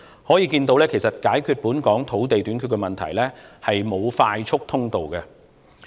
可見解決本港土地短缺問題是沒有快速通道的。